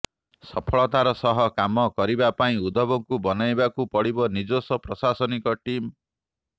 ସଫଳତାର ସହ କାମ କରିବା ପାଇଁ ଉଦ୍ଧବଙ୍କୁ ବନେଇବାକୁ ପଡିବ ନିଜସ୍ୱ ପ୍ରଶାସନିକ ଟିମ